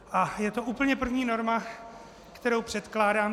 A je to úplně první norma, kterou předkládám.